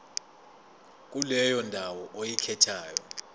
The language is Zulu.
kuleyo ndawo oyikhethayo